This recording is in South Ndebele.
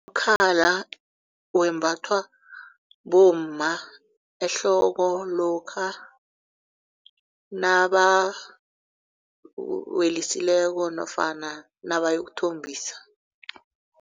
Umkhala wembathwa bomma ehloko lokha nabawelisileko nofana nabayokuthombisa.